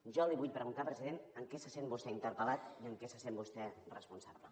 jo li vull preguntar president en què se sent vostè interpel·lat i en què se sent vostè responsable